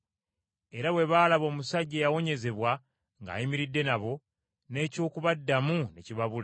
Era bwe baalaba omusajja eyawonyezebwa ng’ayimiridde nabo, n’eky’okubaddamu ne kibabula.